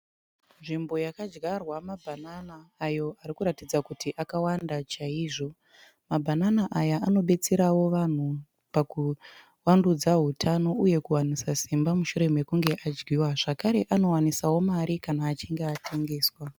Nzvimbo yakadyarwa mabhanana ayo arikuratidza kuti akawanda chaizvo. Mabhanana aya anobetserawo vanhu pakuvandudza hutano uye kuwanisa simba mushure mekunge adyiwa. Zvakare anowanisawo mari kana achinge atengeswa.